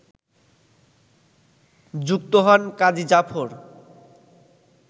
যুক্ত হন কাজী জাফর